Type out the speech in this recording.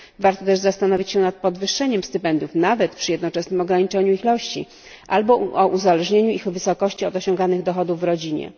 Warto też zastanowić się nad podwyższeniem stypendiów nawet przy jednoczesnym ograniczeniu ich ilości albo uzależnieniem ich wysokości od osiąganych dochodów w rodzinie.